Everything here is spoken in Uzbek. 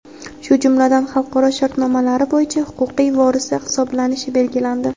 shu jumladan xalqaro shartnomalari bo‘yicha huquqiy vorisi hisoblanishi belgilandi.